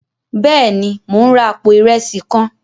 Béèni, Mo n rà apó irẹsi kàn